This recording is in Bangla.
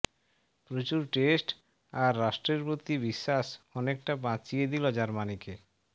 প্রচুর টেস্ট আর রাষ্ট্রের প্রতি বিশ্বাস অনেকটা বাঁচিয়ে দিল জার্মানিকে